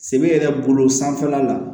Se yɛrɛ bolo sanfɛla la